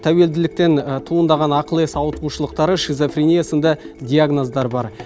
тәуелділіктен туындаған ақыл ес ауытқушылықтары шизофрения сынды диагноздар бар